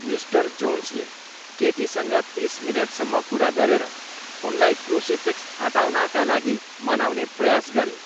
Mister जोन्सले केटीसँग तिस मिनेटसम्म कुरा गरेर उनलाई क्रुसिफिक्स हटाउनका लागि मनाउने प्रयास गरे।